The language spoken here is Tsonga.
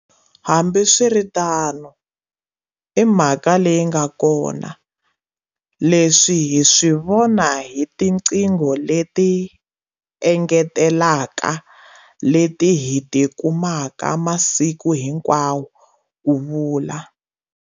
Hambiswiritano, i mhaka leyi nga kona, leswi hi swi vona hi tiqingho leti engetelaka leti hi ti kumaka masiku hinkwawo, ku vula.